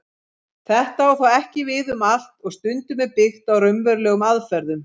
Þetta á þó ekki við um allt og stundum er byggt á raunverulegum aðferðum.